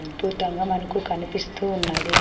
అద్భుతంగా మనకు కనిపిస్తూ ఉన్నది .